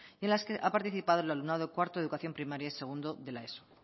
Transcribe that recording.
y en las que ha participado el alumnado de cuarto de educación primaria y segundo de la eso